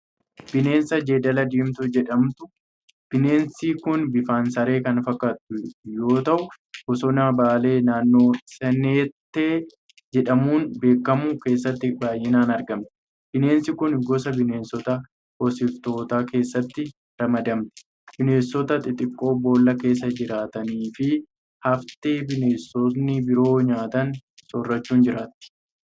Bineensa jeedala diimtuu jedhamtu. Bineensi kun bifaan saree kan fakkaatu yoo ta'u bosona Baalee naannoo Saannatee jedhamuun beekamu keessatti baay'inaan argamti. Bineensi kun gosa bineensota hoosiftootaa keessatti ramadamti. Bineensota xixiqqoo boolla keessa jiraatanii fi haftee bineensonni biroo nyaatan soorachuun jiraatti.